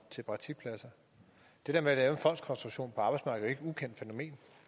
til praktikpladser det der med at lave en fondskonstruktion på arbejdsmarkedet et ukendt fænomen